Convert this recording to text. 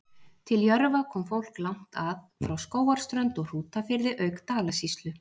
Til Jörfa kom fólk langt að, frá Skógarströnd og Hrútafirði auk Dalasýslu.